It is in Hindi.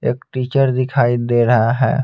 एक दिखाई दे रहा है.